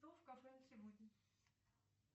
стол в кафе на сегодня